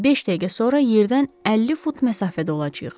Beş dəqiqə sonra yerdən 50 fut məsafədə olacağıq.